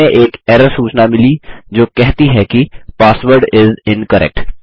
हमें एक एरर सूचना मिली जो कहती है कि पासवर्ड इस इनकरेक्ट